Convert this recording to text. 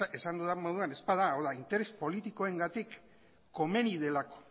esan dudan moduan ez bada interes politikoengatik komeni delako